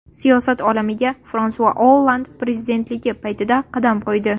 Siyosat olamiga Fransua Olland prezidentligi paytida qadam qo‘ydi.